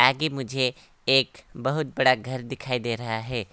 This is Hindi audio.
आगे मुझे एक बहुत बड़ा घर दिखाई दे रहा है।